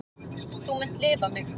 Þú munt lifa mig.